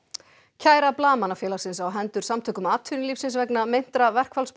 kæra Blaðamannafélagsins á hendur Samtökum atvinnulífsins vegna meintra